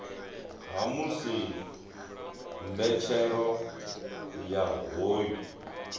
ha musi mbetshelo ya hoyu